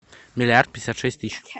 миллиард пятьдесят шесть тысяч